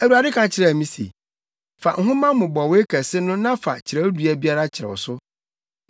Awurade ka kyerɛɛ me se, “Fa nhoma mmobɔwee kɛse no na fa kyerɛwdua biara kyerɛw so.